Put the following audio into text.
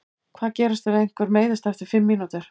Hvað gerist ef einhver meiðist eftir fimm mínútur?